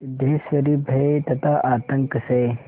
सिद्धेश्वरी भय तथा आतंक से